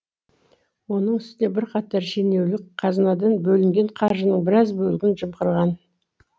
оның үстіне бірқатар шенеунік қазынадан бөлінген қаржының біраз бөлігін жымқырған